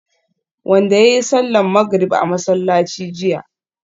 wanda yayi sallar magrib a masallaci jiya